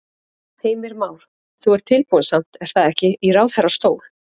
Heimir Már: Þú ert tilbúinn samt er það ekki í ráðherrastól?